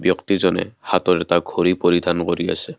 ব্যক্তিজনে হাতত এটা গাড়ী পৰিধান কৰি আছে।